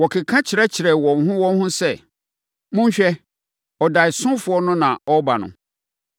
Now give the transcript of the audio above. Wɔkeka kyerɛkyerɛɛ wɔn ho wɔn ho sɛ, “Monhwɛ! Ɔdaeɛsofoɔ no na ɔreba no!